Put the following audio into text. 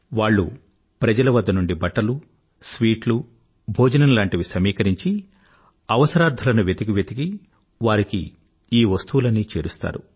వాళ్ళు ప్రజల వద్ద నుండి బట్టలు స్వీట్లు భోజనం లాంటివి సమీకరించి అవసరార్థులను వెతికి వెతికి వారికి ఈ వస్తువులన్నీ చేరుస్తారు